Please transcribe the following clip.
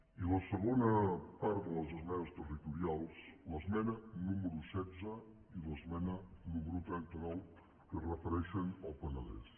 i la segona part de les esmenes territorials l’esmena número setze i l’esmena número trenta nou que es refereixen al penedès